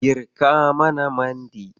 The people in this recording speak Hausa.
Girka mana mandi.